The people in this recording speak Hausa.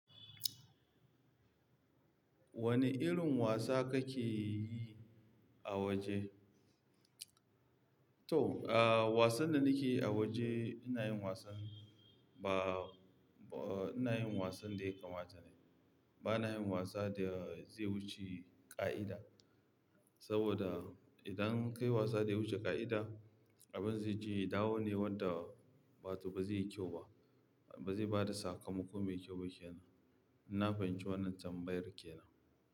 Wane irin wasa kake yi a waje? To, ah, wasan da nake yi a waje ina yin wasan ba, ba-- ina yin wasan da ya kamata ne. Bana yin wasa da zai wuce ƙa'ida. Saboda idan ka yi wasa da ya wuce ƙa'ida, abin zai je ya dawo ne wanda wato ba zai yi kyau ba, ba zai bada sakamako mai kyau ba ke nan. In na fahimci wannan tambayar ke nan.